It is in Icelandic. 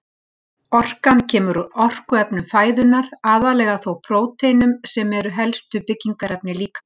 Orkan kemur úr orkuefnum fæðunnar, aðallega þó prótínum sem eru helstu byggingarefni líkamans.